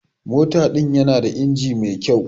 Mota din yana da inji mai kyau.